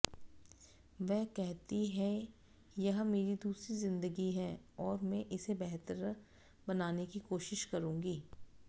वे कहती हैंयह मेरी दूसरी जिंदगी है और मैं इसे बेहतर बनाने की कोशिश करूंगी